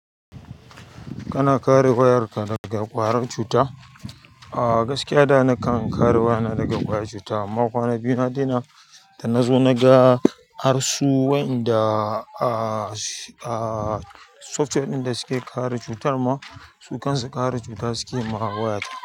Kana kare wayarka daga ƙwarar cuta? Gaskiya da na kan kare wayana daga ƙwayac cuta amma kwana biyu na daina da nazo naga harsu wa'inda aa software ɗin da suke kare cutan ma su kan su ƙara cuta suke ma wayata.